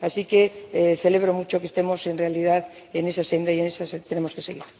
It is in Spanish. Así que celebro mucho que estemos en realidad en esa senda y así tenemos que seguir.